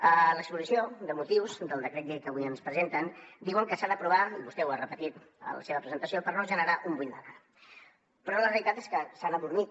a l’exposició de motius del decret llei que avui ens presenten diuen que s’ha d’aprovar i vostè ho ha repetit en la seva presentació per no generar un buit legal però la realitat és que s’han adormit